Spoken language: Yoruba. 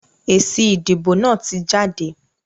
Èsì ìdìbò náà tí jáde.